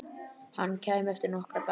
Hann kæmi eftir nokkra daga.